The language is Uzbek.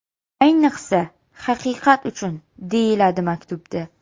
Ayniqsa, Haqiqat uchun!”, deyiladi maktubda.